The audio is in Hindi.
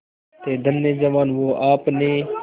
थे धन्य जवान वो आपने